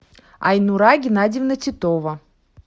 айнура геннадьевна титова